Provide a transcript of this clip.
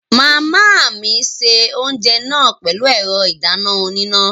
Màmá mi se oúnjẹ náà pẹ̀lú ẹ̀rọ ìdáná oníná